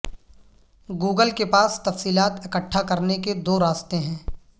Google کے پاس تفصیلات اکٹھا کرنے کے دوراستے ہیں